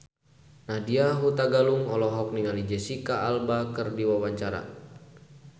Nadya Hutagalung olohok ningali Jesicca Alba keur diwawancara